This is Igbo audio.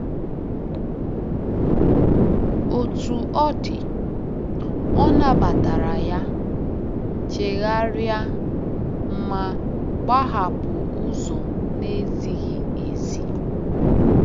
Otú ọ dị, ọ nabatara ya, chegharịa, ma gbahapụ ụzọ na-ezighị ezi.